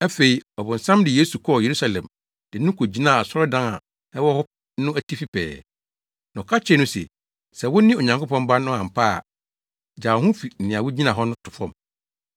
Afei, ɔbonsam de Yesu kɔɔ Yerusalem de no kogyinaa asɔredan a ɛwɔ hɔ no atifi pɛɛ, na ɔka kyerɛɛ no se, “Sɛ wone Onyankopɔn Ba no ampa ara a, gyaa wo ho fi nea wugyina hɔ to fam!